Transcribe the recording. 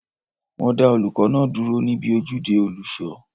Wọ́n dá olùkọ́ náà dúró ní ibi ojúde olùṣọ